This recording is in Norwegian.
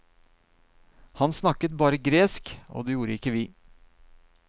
Han snakket bare gresk, og det gjorde ikke vi.